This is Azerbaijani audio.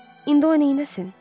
İndi o neyləsin?